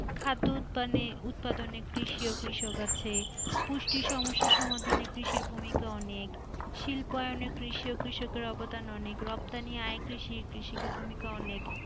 খাদ্য উৎপানে উৎপাদনে কৃষি ও কৃষক আছে পুষ্টি সমস্যার সমাধানে কৃষি ভূমিকা অনেক শিল্পায়নে কৃষি ও কৃষকের অবদান অনেক রপ্তানি আয় কৃষি কৃষিকার ভূমিকা অনেক।